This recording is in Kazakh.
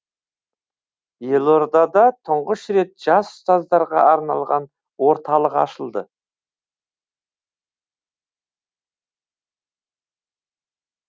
елордада тұңғыш рет жас ұстаздарға арналған орталық ашылды